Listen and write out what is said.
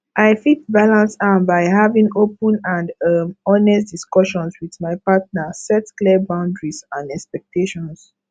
i fit balance am by having open and um honest discussions with my partner set clear boundaries and expectations